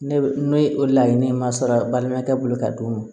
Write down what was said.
Ne ne o laɲini ma sara balimakɛ bolo ka d'o ma